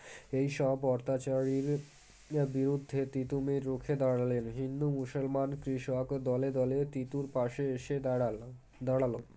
এইসব অত্যাচারীর বিরুদ্ধে তীতুমীর রুখে দাঁড়ালেন হিন্দু মুসলমান কৃষক দলে দলে তীতুর পাশে এসে দাঁড়ালো দাঁড়ালো